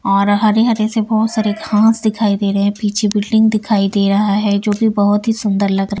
और हरे-हरे से बहुत सारे घास दिखाई दे रहे हैं पीछे बिल्डिंग दिखाई दे रहा है जो कि बहुत ही सुंदर लग रहा है।